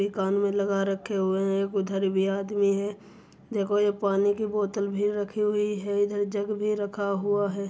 ये कान में लगा रखे हुए है। एक उधर भी आदमी है। देखो ये पानी की बोतल भी रखी हुई है। इधर जग भी रखा हुआ है।